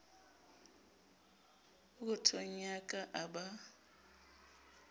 pokothong ya ka a ba